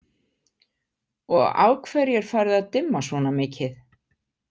Og af hverju er farið að dimma svona mikið?